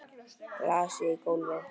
Glasið í gólfið.